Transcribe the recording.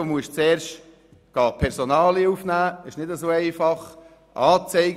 Zuerst müssten die Personalien aufgenommen werden, was sich nicht so einfach gestaltet.